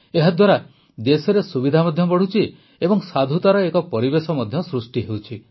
ଏହାଦ୍ୱାରା ଦେଶରେ ସୁବିଧା ମଧ୍ୟ ବଢ଼ୁଛି ଏବଂ ସାଧୁତାର ଏକ ପରିବେଶ ମଧ୍ୟ ସୃଷ୍ଟି ହେଉଛି